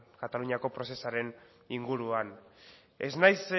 kataluniako prozesuaren inguruan ez naiz